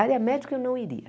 Área médica, eu não iria.